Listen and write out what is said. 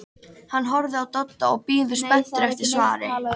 Hann horfir á Dodda og bíður spenntur eftir svari.